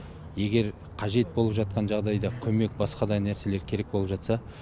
егер қажет болып жатқан жағдайда көмек басқа да нәрселер керек болып жатса